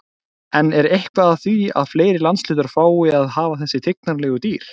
En er eitthvað að því að fleiri landshlutar fái að hafa þessi tignarlegu dýr?